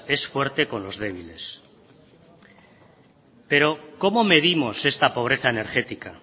es fuerte con los débiles pero cómo medimos esta pobreza energética